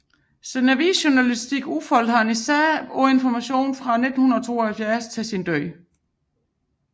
Sin avisjournalistik udfoldede han især på Information fra 1972 til sin død